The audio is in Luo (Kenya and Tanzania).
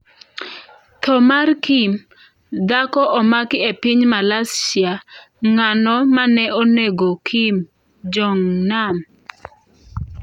Tho mar Kim: Dhako omaki e piny Malaysia Ng'ano mane onego Kim Jong Nam?